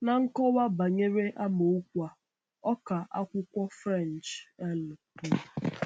Na nkọwa banyere amaokwu a, ọkà akwụkwọ French L. kwuru.